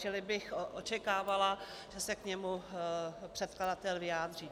Čili bych očekávala, že se k němu předkladatel vyjádří.